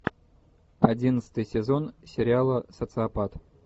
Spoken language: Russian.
одиннадцатый сезон сериала социопат